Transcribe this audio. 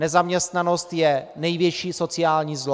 Nezaměstnanost je největší sociální zlo.